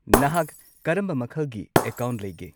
ꯅꯍꯥꯛ ꯀꯔꯝꯕ ꯃꯈꯜꯒꯤ ꯑꯦꯀꯥꯎꯟꯠ ꯂꯩꯒꯦ?